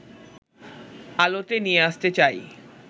আলোতে নিয়ে আসতে চাই